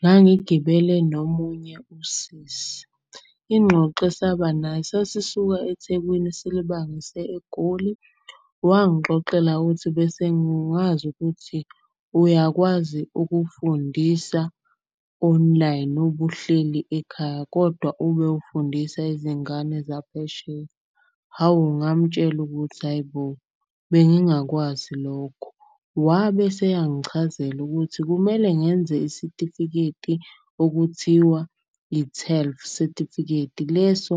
Ngangigibele nomunye usisi ingxoxo esaba nayo, sasisuka eThekwini silibangise eGoli. Wangixoxela ukuthi, bese ngazi ukuthi uyakwazi ukufundisa online ubuhleli ekhaya kodwa ube ufundisa izingane zaphesheya. Hawu ngamtshela ukuthi, hhayi bo bengingakwazi lokho. Wabe eseyangichazela ukuthi kumele ngenze isitifiketi okuthiwa i-TELF sitifikeiti. Leso